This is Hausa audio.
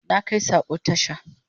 Na kai sako tasha